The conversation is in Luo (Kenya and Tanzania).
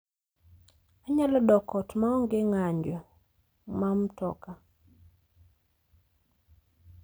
Anyalo dok ot maonge ng'anjo ma mtoka